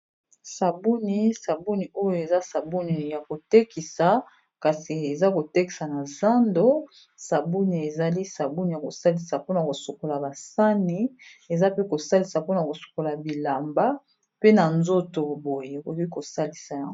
Sabuni, sabuni oyo eza sabuni ya kotekisa kasi eza kotekisa na zando sabouni ezali sabouni ya kosalisa mpona kosokola basani eza pe kosalisa mpona kosokola bilamba pe na nzoto boye okoki kosalisa yango.